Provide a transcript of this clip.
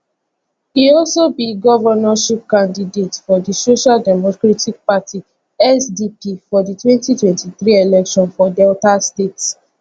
e also be di governorship candidate of di social democratic party sdp for di 2023 election for delta state